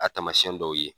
A taamasiyɛn dɔw ye